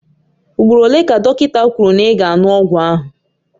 Ugboro ole ka dọkịta kwuru na ị ga-aṅụ ọgwụ ahụ?